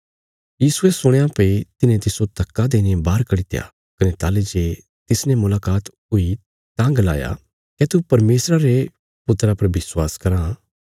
यीशुये सुणया भई तिन्हे तिस्सो धक्का देईने बाहर कड्डित्या कने ताहली जे तिसने मुलाकात हुई तां गलाया क्या तू परमेशरा रे पुत्रा पर विश्वास कराँ